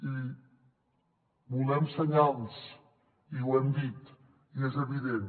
i volem senyals i ho hem dit i és evident